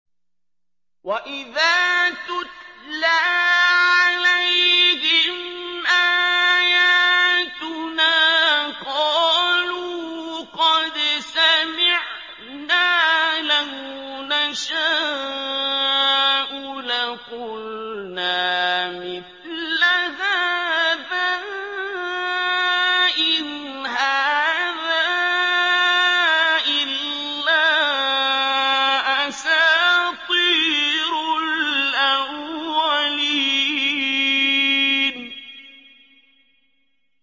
وَإِذَا تُتْلَىٰ عَلَيْهِمْ آيَاتُنَا قَالُوا قَدْ سَمِعْنَا لَوْ نَشَاءُ لَقُلْنَا مِثْلَ هَٰذَا ۙ إِنْ هَٰذَا إِلَّا أَسَاطِيرُ الْأَوَّلِينَ